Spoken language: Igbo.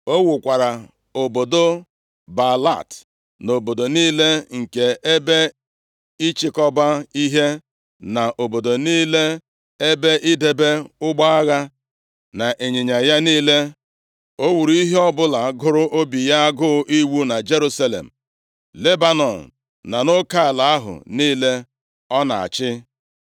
O wukwara obodo Baalat na obodo niile nke ebe ịchịkọba ihe, na obodo niile ebe idebe ụgbọ agha na ịnyịnya ya niile. O wuru ihe ọbụla gụrụ obi ya agụụ iwu na Jerusalem, Lebanọn na nʼoke ala ahụ niile ọ na-achị.